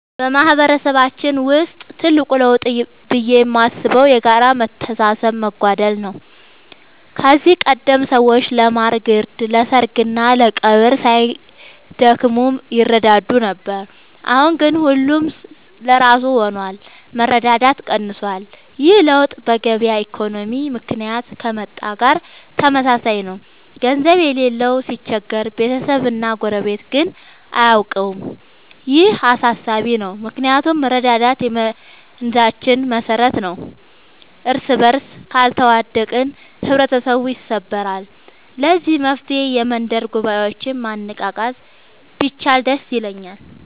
በማህበረሰባችን ውስጥ ትልቅ ለውጥ ብዬ የማስበው የጋራ መተሳሰብ መጓደል ነው። ከዚህ ቀደም ሰዎች ለማር ግርድ፣ ለሰርግና ለቀብር ሳይደክሙ ይረዳዱ ነበር። አሁን ግን ሁሉም ለራሱ ሆኗል፤ መረዳዳት ቀንሷል። ይህ ለውጥ በገበያ ኢኮኖሚ ምክንያት ከመጣ ጋር ተመሳሳይ ነው፤ ገንዘብ የሌለው ሲቸገር ቤተሰብና ጎረቤት ግን አያውቀውም። ይህ አሳሳቢ ነው ምክንያቱም መረዳዳት የመንዛችን መሰረት ነበር። እርስበርስ ካልተዋደቅን ህብረተሰቡ ይሰበራል። ለዚህ መፍትሔ የመንደር ጉባኤዎችን ማነቃቃት ቢቻል ደስ ይለኛል።